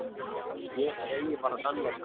Ég segi bara sannleikann.